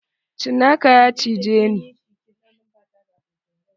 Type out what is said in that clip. Cinaka ya cije ni.